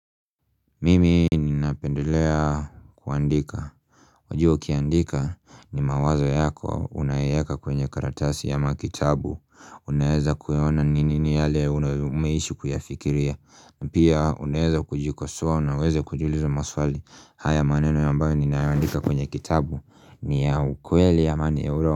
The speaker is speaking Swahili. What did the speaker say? Mimi ninapendelea kuandika Wajua kiandika ni mawazo yako unayeka kwenye karatasi ya makitabu Unaeza kueona ninini yale unaumeishi kuyafikiria na pia uneeza kujikosoa unaweze kujulizo maswali haya maneno yambayo ninaandika kwenye kitabu ni ya ukweli ya mani euro.